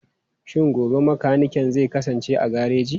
Shin gobe mekanikin zai kasance a gareji?